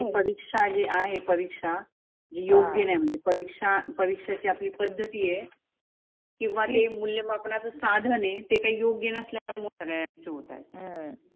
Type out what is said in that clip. परिक्षा आहे परिक्षा जी योग्य नाही म्हणजे परिक्षा परिक्षाची आपली पद्धती आहे. किंवा ते मुल्य मापनाच साधन आहे ते काही योग्य नसल्याच होत आहेत.